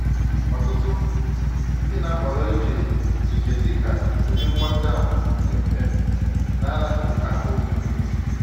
Ọtụtụ ndị na-ahọrọ ije ije dị ka ụdị mgbatị ahụ dị mfe na araghị ahụ omume